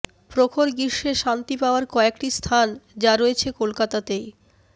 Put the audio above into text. প্রখর গ্রীষ্মে শান্তি পাওয়ার কয়েকটি স্থান যা রয়েছে কলকাতাতেই